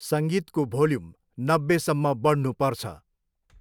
सङ्गीतको भोल्यम नब्बेसम्म बढ्नुपर्छ।